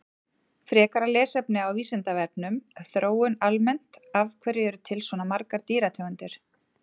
Frekara lesefni á Vísindavefnum Þróun almennt Af hverju eru til svona margar dýrategundir?